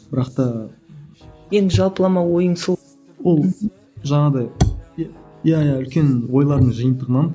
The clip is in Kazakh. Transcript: бірақ та енді жалпылама ойың сол ол жаңағыдай иә иә үлкен ойлардың жиынтығынан